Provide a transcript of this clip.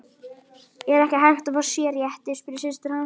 Er ekki hægt að fá sérrétti, spurði systir hans.